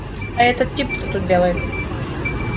а этот тип что тут делает